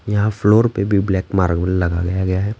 यहाँ फ्लोर पे भी ब्लैक मार्बल लगाया गया है।